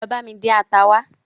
Lọ bami dín ata wa